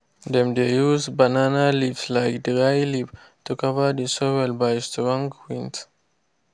dem de use banana leaves like dryleaf to cover de soil by strong winds.